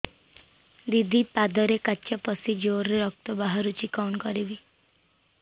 ଦିଦି ପାଦରେ କାଚ ପଶି ଜୋରରେ ରକ୍ତ ବାହାରୁଛି କଣ କରିଵି